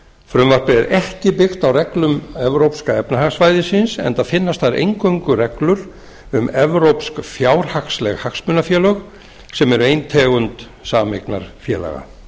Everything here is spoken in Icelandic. frumvarpið er ekki byggt á reglum evrópska efnahagssvæðisins enda finnast þar eingöngu reglur um evrópsk fjárhagsleg hagsmunafélög sem er ein tegund sameignarfélaga